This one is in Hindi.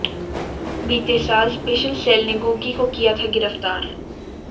बीते साल स्पेशल सेल ने गोगी को किया था गिरफ्तार